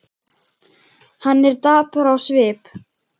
Hann er dapur á svip.